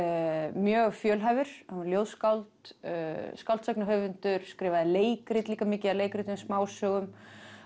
mjög fjölhæfur hann var ljóðskáld skáldsagnahöfundur skrifaði leikrit líka mikið af leikritum smásögum